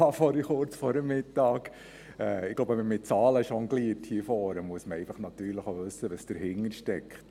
Ich denke, wenn man hier vorne mit Zahlen jongliert, muss man auch wissen, was dahintersteckt.